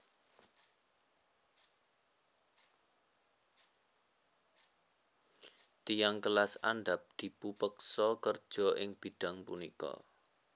Tiyang kelas andhap dipupeksa kerja ing bidang punika